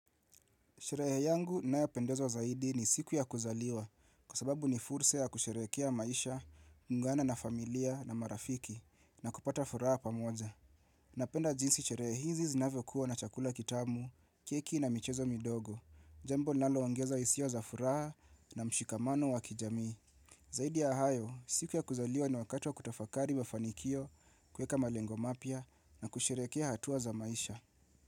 Sherehe yangu ninayopendezwa zaidi ni siku ya kuzaliwa. Kwa sababu ni fursa ya kusherehekea maisha, kuungana na familia na marafiki na kupata furaha pamoja. Napenda jinsi sherehe hizi zinavyo kuwa na chakula kitamu, keki na michezo midogo, jambo linalongeza hisia za furaha na mshikamano wa kijami. Zaidi ya hayo, siku ya kuzaliwa ni wakati wa kutafakari wa fanikio kueka malengo mapia na kusherekea hatua za maisha.